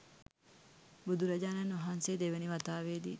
බුදුරජාණන් වහන්සේ දෙවෙනි වතාවෙදිත්